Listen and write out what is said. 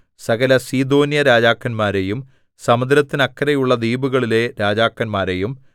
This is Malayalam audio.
സകല സീദോന്യരാജാക്കന്മാരെയും സമുദ്രത്തിനക്കരെയുള്ള ദ്വീപുകളിലെ രാജാക്കന്മാരെയും